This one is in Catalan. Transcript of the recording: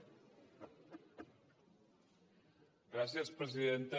gràcies presidenta